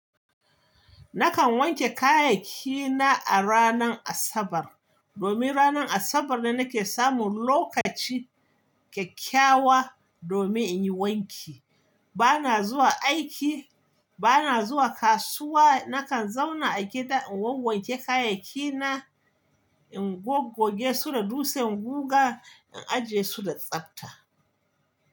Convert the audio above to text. Nakan wanke kayayyakina a ranar Asabar, domin ranar Asabar ne nake samun lokaci kyakkyawa domin in yi wanki. Bana zuwa aiki, bana zuwa kasuwa. Nakan zauna a gida in wawanke kayayyakina, in goggoge su da dutsen guga, in ajiye su da tsafta.